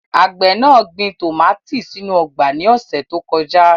Àgbẹ̀ náà gbin tòmátì sínú ọgbà ní ọ̀sẹ̀ tó kọjá.